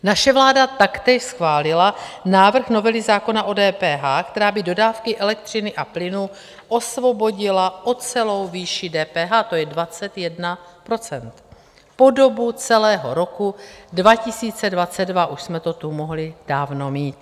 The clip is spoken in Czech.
Naše vláda taktéž schválila návrh novely zákona o DPH, která by dodávky elektřiny a plynu osvobodila o celou výši DPH, to je 21 %, po dobu celého roku 2022, už jsme to tu mohli dávno mít.